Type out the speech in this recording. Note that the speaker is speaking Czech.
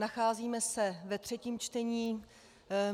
Nacházíme se ve třetím čtení.